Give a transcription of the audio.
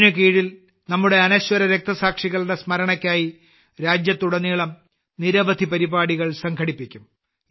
ഇതിന് കീഴിൽ നമ്മുടെ അനശ്വര രക്തസാക്ഷികളുടെ സ്മരണയ്ക്കായി രാജ്യത്തുടനീളം നിരവധി പരിപാടികൾ സംഘടിപ്പിക്കും